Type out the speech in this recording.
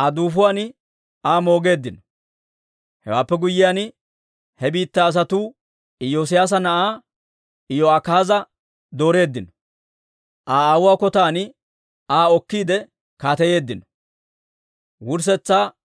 Aa duufuwaan Aa moogeeddino. Hewaappe guyyiyaan, he biittaa asatuu Iyoosiyaasa na'aa Iyo'akaaza dooreeddino; Aa aawuwaa kotan Aa okkiide kaateyeeddino.